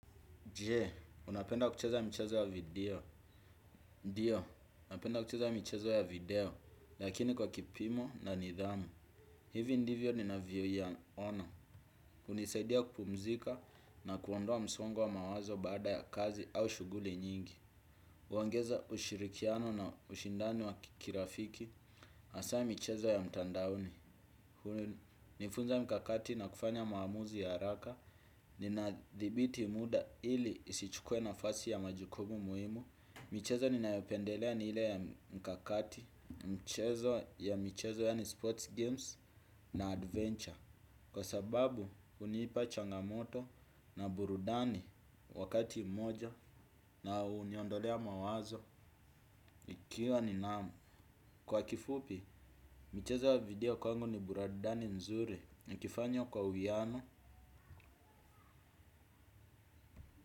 Je, unapenda kucheza michezo ya video? Ndiyo, napenda kucheza michezo ya video, lakini kwa kipimo na nidhamu. Hivi ndivyo nina vya ya ona, hunisaidia kupumzika na kuondoa msongo wa mawazo baada ya kazi au shuguli nyingi. Uongeza ushirikiano na ushindani wa kirafiki, asa michezo ya mtandaoni. Huni nifunza mkakati na kufanya maamuzi ya haraka. Ninadhibiti muda ili isichukue na fasi ya majukumu muhimu. Michezo ninayopendelea ni hile ya mkakati. Michezo ya michezo ya ni sports games na adventure. Kwa sababu huniipa changamoto na burudani wakati mmoja. Na uniondolea mawazo kiuwa ni naamu. Kwa kifupi, michezo ya video kwangu ni burudani nzuri nikifanya kwa uwiano.